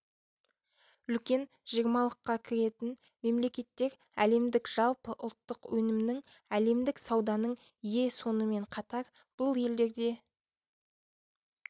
үлкен жиырмалыққа кіретін мемлекеттер әлемдік жалпы ұлттық өнімнің әлемдік сауданың ие сонымен қатар бұл елдерде